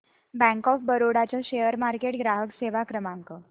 bank of Baroda चा share market ग्राहक सेवा क्रमांक